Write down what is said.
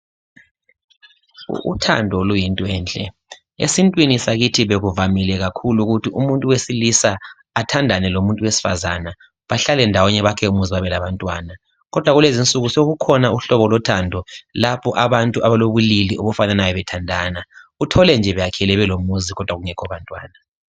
Uthando luyintwenhle ,esintwini sakithi bekuvamile kakhulu ukuthi umuntu wesilisa athandane lomuntu wesifazana bahlale ndawonye babelabantwana .Kodwa kulezinsuku sokukhona uhlobo lothando, lapho abantu abalobulili obufananayo bethandana uthole nje beyakhile belomuzi kodwa kungekho bantwana.